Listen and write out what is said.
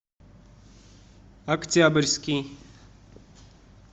октябрьский